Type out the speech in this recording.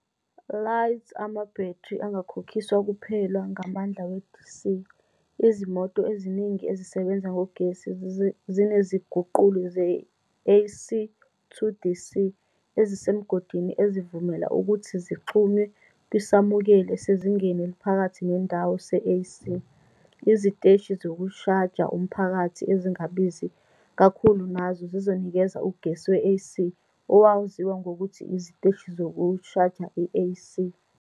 LYize amabhethri angakhokhiswa kuphela ngamandla we- DC, izimoto eziningi ezisebenza ngogesi zineziguquli ze-AC-to-DC ezisemgodini ezivumela ukuthi zixhunywe kwisamukeli esezingeni eliphakathi nendawo se-AC. Iziteshi zokushaja umphakathi ezingabizi kakhulu nazo zizonikeza ugesi we-AC, owaziwa ngokuthi "iziteshi zokushaja i-AC".